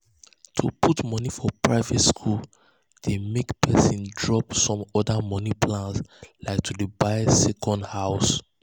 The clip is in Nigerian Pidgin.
um to put money for private school dey make person drop some other money plans like to um dey buy second house.